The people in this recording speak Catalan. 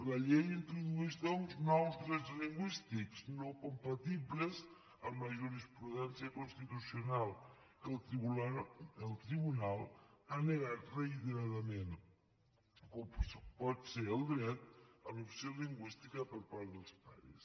la llei introdueix doncs nous drets lingüístics no compatibles amb la jurisprudència constitucional que el tribunal ha negat reiteradament com pot ser el dret a l’opció lingüística per part dels pares